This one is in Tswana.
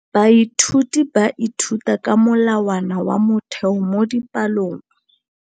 Baithuti ba ithuta ka molawana wa motheo mo dipalong.